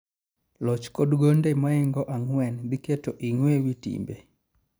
loch kodgonde maoingo angwen dhi keto Ingwe ewitimbe